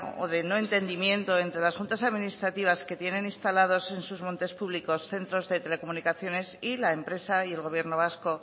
o de no entendimiento entre las juntas administrativas que tienen instalados en sus montes públicos centros de telecomunicaciones y la empresa y el gobierno vasco